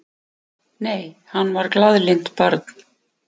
Nei, hann var glaðlynt barn.